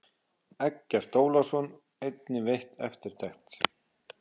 Eggert Ólafsson einnig veitt eftirtekt.